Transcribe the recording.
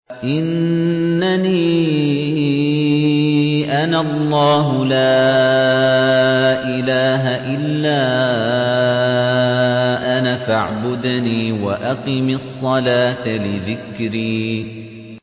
إِنَّنِي أَنَا اللَّهُ لَا إِلَٰهَ إِلَّا أَنَا فَاعْبُدْنِي وَأَقِمِ الصَّلَاةَ لِذِكْرِي